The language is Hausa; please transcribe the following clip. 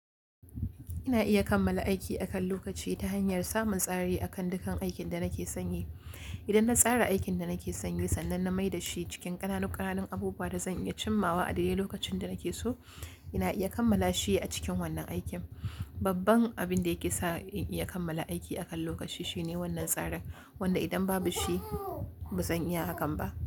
Ina iya kammala aiki akan lokaci ta hanyar samun tsari akan dukan aikin da nake sanyi Idan na tsara aikin da nake sanyi sannan na mai da shi cikin ƙananuƙanan abubuwa da zan iya cimawa a dare lokacin da nake so, ina iya kammala shi a cikin wannan aikin. Babban abin da yake sa in iya kammala aiki akan lokaci shine wannan tsarin, wanda idan babu shi ba zan iya hakan ba.